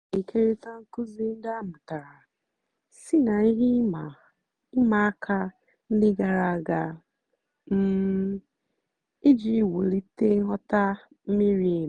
ha na-ékérị̀ta nkụ́zí ndí a mụ́tàra sí ná ihe ị̀ma àka ndí gààrà àga um ijì wùlìtè nghọ́tá mìrí èmì.